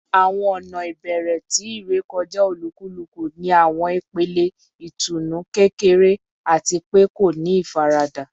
Awọn ọna ibẹrẹ ti irekọja olukuluku ni awọn ipele itunu kekere ati pe ko ni ifarada